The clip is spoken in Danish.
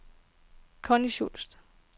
Connie Schulz